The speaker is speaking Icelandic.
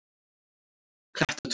Klettatúni